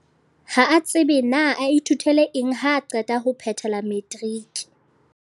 Ha a tsebe na a ithutele eng haa qeta ho phethela matriki.